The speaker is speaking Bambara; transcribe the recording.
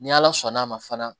Ni ala sɔnn'a ma fana